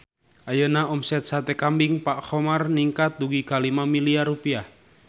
Ayeuna omset Sate Kambing Pak Khomar ningkat dugi ka 5 miliar rupiah